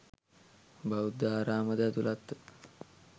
බෞද්ධ ආරාමද ඇතුළත්ව